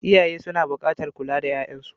Iyaye suna buƙatar kula da 'ya'yansu.